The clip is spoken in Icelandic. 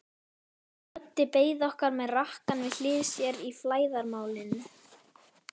Böddi beið okkar með rakkann við hlið sér í flæðarmálinu.